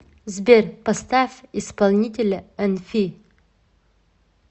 сбер поставь исполнителя энфи